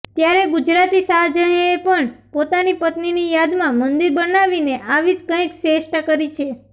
ત્યારે ગુજરાતી શાહજહાએ પણ પોતાની પત્નીની યાદમાં મંદિર બનાવીને આવી જ કંઈક ચેષ્ટા કરી છે